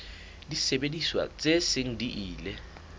disebediswa tse seng di ile